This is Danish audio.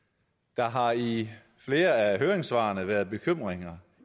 der har i flere af høringssvarene været bekymringer